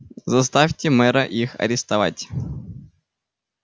заставьте мэра их арестовать